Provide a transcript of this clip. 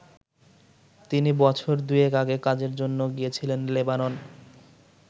তিনি বছর দুয়েক আগে কাজের জন্য গিয়েছিলেন লেবানন।